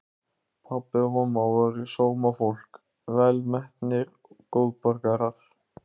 Pabbi og mamma voru sómafólk, velmetnir góðborgarar.